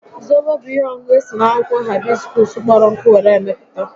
Zobo bụ ihe ọṅụṅụ esi n'akwụkwọ haibiskuus kpọrọ nkụ were mepụta